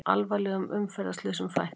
Alvarlegum umferðarslysum fækkar